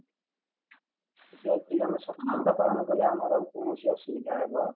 ଯଦି ଆମେ ସତର୍କତା ପାଳନ କଲେ ଆମର କୌଣସି ଅସୁବିଧା ହବ